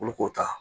Olu k'o ta